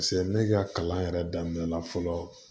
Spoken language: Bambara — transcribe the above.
ne ka kalan yɛrɛ daminɛ la fɔlɔ